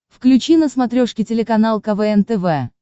включи на смотрешке телеканал квн тв